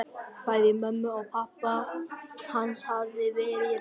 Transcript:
Bæði mömmu og pabba hans hafði verið rænt.